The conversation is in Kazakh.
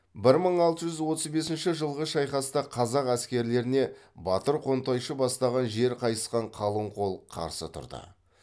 бір мың алты жүз отыз бесінші жылғы шайқаста қазақ әскерлеріне батыр қонтайшы бастаған жер қайысқан қалың қол қарсы тұрды